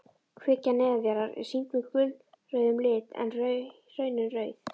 Kvikan neðanjarðar er sýnd með gulrauðum lit en hraunin rauð.